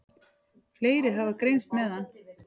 Fleiri hafa greinst með hann.